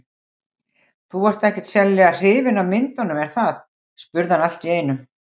Þú ert ekkert sérlega hrifin af myndunum, er það? spurði hann allt í einu.